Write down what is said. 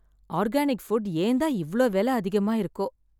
Organic food, ஏன் தான் இவ்ளோ வெல அதிகமா இருக்கோ?